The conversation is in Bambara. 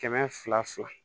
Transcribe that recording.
Kɛmɛ fila fila